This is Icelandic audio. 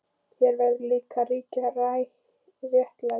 Hér verður líka að ríkja réttlæti.